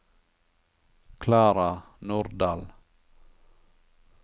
Klara Nordal